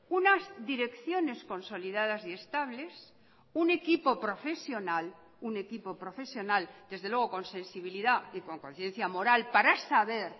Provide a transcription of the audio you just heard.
unas direcciones consolidadas y estables un equipo profesional un equipo profesional desde luego con sensibilidad y con conciencia moral para saber